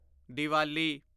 Diwali